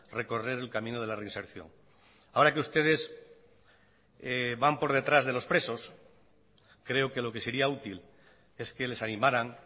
recorrer el camino de la reinserción ahora que ustedes van por detrás de los presos creo que lo que sería útil es que les animaran